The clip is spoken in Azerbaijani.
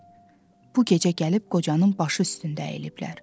bu gecə gəlib qocanın başı üstündə əyiliblər.